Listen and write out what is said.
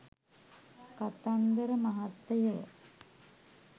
කතන්දර මහත්තයෝ